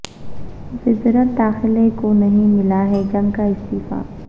وزارت داخلہ کو نہیں ملا ہے جنگ کا استعفی